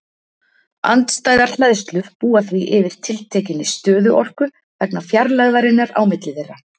Andstæðar hleðslur búa því yfir tiltekinni stöðuorku vegna fjarlægðarinnar á milli þeirra.